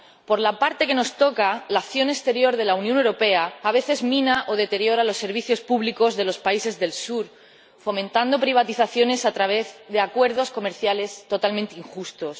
Por la parte que nos toca, la acción exterior de la Unión a veces mina o deteriora los servicios públicos de los países del sur, fomentando privatizaciones a través de acuerdos comerciales totalmente injustos.